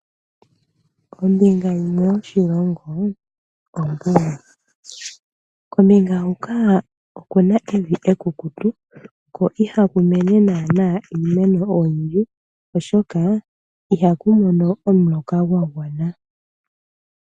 Ombinga yimwe yoshilongo ombuga. Kombinga huka oku na evi ekukutu ko ihaku mene naanaa iimeno oyindji, oshoka ihaku mono omuloka gwa gwana.